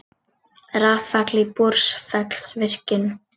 Rafall í Búrfellsvirkjun.